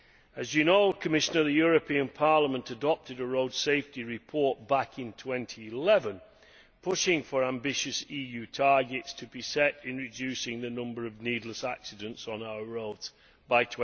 As you know, Commissioner, the European Parliament adopted a road safety report back in 2011 pushing for ambitious EU targets to be set in reducing the number of needless accidents on our roads by